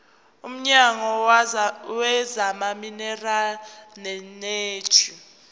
womnyango wezamaminerali neeneji